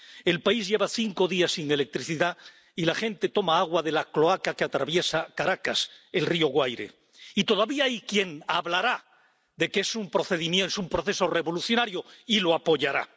El país lleva cinco días sin electricidad y la gente toma agua de la cloaca que atraviesa Caracas —el río Guaire—. Y todavía hay quien hablará de que es un proceso revolucionario y lo apoyará.